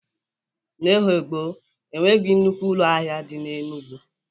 N'oge gboo, o nweghị nnukwu ụlọ ahịa dị n'Enugwu.